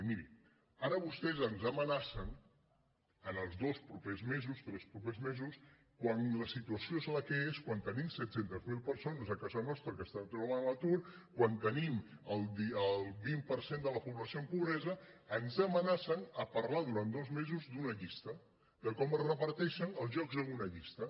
i miri ara vostès ens amenacen en els dos propers mesos tres propers mesos quan la situació és la que és quan tenim set cents miler persones a casa nostra que es troben a l’atur quan tenim el vint per cent de la població amb pobresa de parlar durant dos mesos d’una llista de com es reparteixen els llocs en una llista